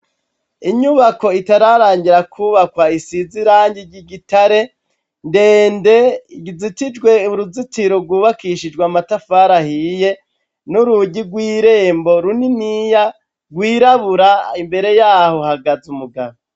Inyubako itararangira kubakwa isiz' irangi ry'igitare ndende izitijwe uruzitiro rwubakishijwe amatafar 'ahiye ,n'urugi rw'irembo runiniya gwirabura imbere yaho hagaz'umugabo